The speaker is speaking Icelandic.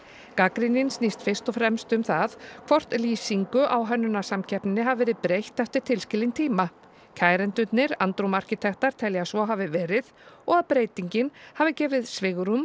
gagnrýnin snýst fyrst og fremst um það hvort lýsingu á hönnunarsamkeppninni hafi verið breytt eftir tilskilinn tíma kærendurnir andrúm arkitektar telja að svo hafi verið og að breytingin hafi gefið svigrúm